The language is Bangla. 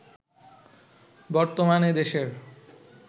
বর্তমানে দেশের